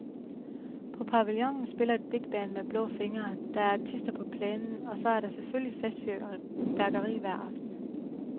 På pavillionen spiller et bigband med blå fingre, der er artister på plænen, og så er der selvfølgelig festfyrværkeri hver aften.